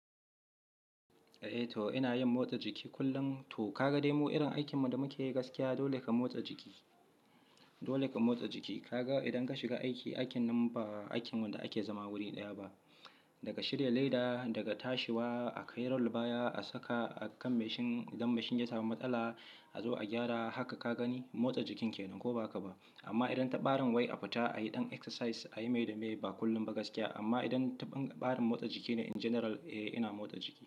Eh to ina yin motsa jiki kullum. To kaga dai mu irin aikin mu da muke yi gaskiya dole ka motsa jiki, dole ka motsa jiki. Kaga idan ka shiga aiki, aikin nan ba aikin wanda ake zama wuri ɗaya ba. Daga shirya leda, daga tashiwa, a kai role baya, a saka a kan mashin idan mashin ya samu matsala a zo a gyara. Haka ka gani motsa jikin kenan ko ba ka ba? Amma idan ta ɓarin wai a fita a yi ɗan exercise a yi mai da mai ba kullum ba gaskiya. Amma idan ta ɓarin motsa jiki ne in general eh ina motsa jiki.